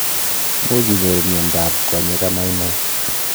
Muuch inyoru miondo ab konyeek amainai